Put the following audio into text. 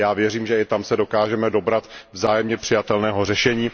Já věřím, že i tam se dokážeme dobrat vzájemně přijatelného řešení.